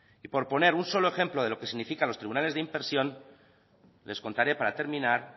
y por poner un solo ejemplo de lo que significan los tribunales de impresión les contaré para terminar